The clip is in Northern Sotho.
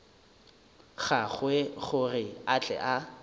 gagwe gore a tle a